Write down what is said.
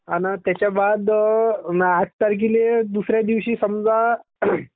आना त्याच्या बाद आठ तारखले दुसऱ्या दिवशी समझ .